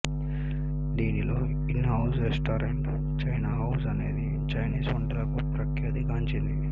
దీనిలో in house restaurant China House అనేది Chinese వంటలకు ప్రఖ్యాతి గాంచింది